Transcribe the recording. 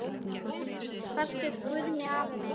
Elsku besti Guðni afi minn.